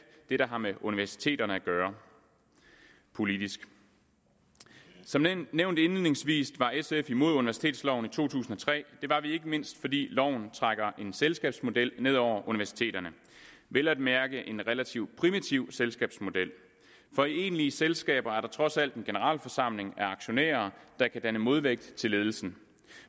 hvad der har med universiteterne at gøre politisk som nævnt indledningsvis var sf imod universitetsloven i to tusind og tre det var vi ikke mindst fordi loven trækker en selskabsmodel ned over universiteterne vel at mærke en relativt primitiv selskabsmodel for i egentlige selskaber er der trods alt en generalforsamling af aktionærer der kan danne modvægt til ledelsen